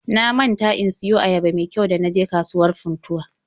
Na manta in siyo ayaba me kyau ga na je kasuwar Funtuwa